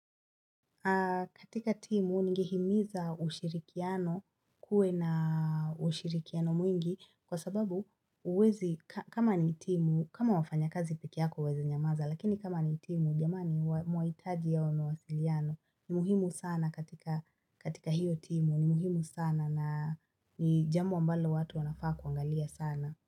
Katika timu ningehimiza ushirikiano kuwe na ushirikiano mwingi kwa sababu huwezi kama ni timu kama wafanya kazi pekee yako waeze nyamaza lakini kama ni timu jamani mwahitaji hayo mawasiliano ni muhimu sana katika katika hiyo timu ni muhimu sana na ni jambi ambalo watu wanafaa kuangalia sana.